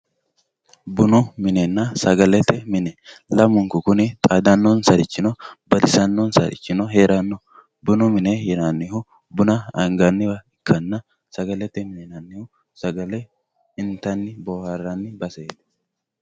Bununa sagalete mine kuni lamunkurichira xaadanonsarichina badanonsari no bunu mine yinanihu buma anganiwa ikana sagalete mini sagale intaniwaati